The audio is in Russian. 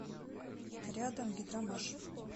рядом гидромаш